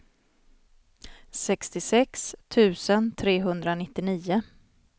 sextiosex tusen trehundranittio